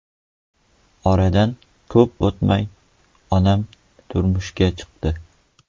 Oradan ko‘p o‘tmay, onam turmushga chiqdi.